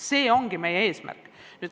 See ongi meie eesmärk.